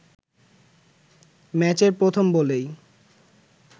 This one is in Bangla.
ম্যাচের প্রথম বলেই